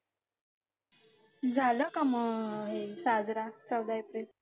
झालं का मग साजरा चौदा एप्रिल